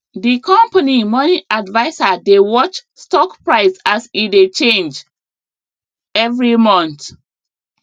di company money adviser dey watch stock price as e dey change every month